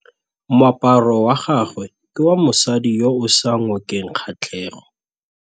Moaparô wa gagwe ke wa mosadi yo o sa ngôkeng kgatlhegô.